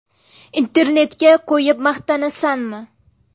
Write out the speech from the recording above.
Internetga qo‘yib maqtanasanmi?